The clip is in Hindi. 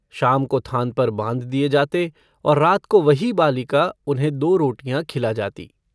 शाम को थान पर बाँध दिये जाते और रात को वही बालिका उन्हें दो रोटियाँ खिला जाती।